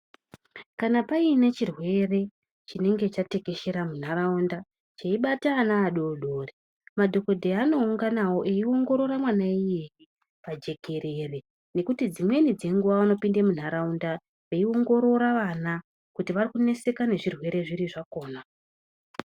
Kana paine chirwere chinenge chatekeshera munharaunda cheibata ano adodori madhogodheya anounganawo eiongorora mwana iyeye pajekerere nekuti dzimweni dzenguva vanopinda munharaunda veingorora vana kuti vakuneseka nezvirwere zvipi zvakona.